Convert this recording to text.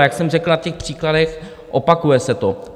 A jak jsem řekl na těch příkladech, opakuje se to.